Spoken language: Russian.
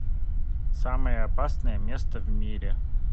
самое опасное место в мире